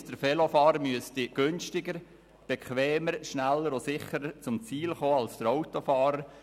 Das heisst, der Velofahrer müsste günstiger, bequemer, schneller und sicherer zum Ziel kommen als der Autofahrer.